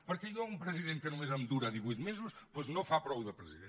perquè jo un president que només em dura divuit mesos doncs no fa prou de president